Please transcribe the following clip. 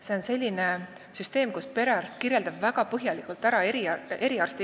See on selline süsteem, kus perearst kirjeldab patsiendi väga põhjalikult ära eriarsti tarvis.